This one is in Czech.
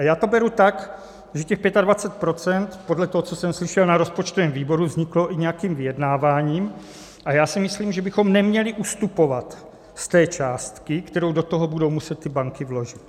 A já to beru tak, že těch 25 % podle toho, co jsem slyšel na rozpočtovém výboru, vzniklo i nějakým vyjednáváním, a já si myslím, že bychom neměli ustupovat z té částky, kterou do toho budou muset ty banky vložit.